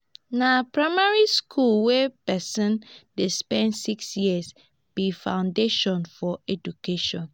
na primary skool wey pesin dey spend six years be foundation for educattion.